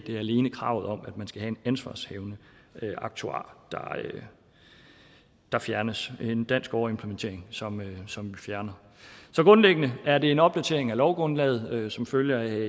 er alene kravet om at man skal have en ansvarshavende aktuar der fjernes det er en dansk overimplementering som som vi fjerner så grundlæggende er det en opdatering af lovgrundlaget som følge af